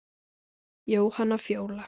Jóhanna Fjóla.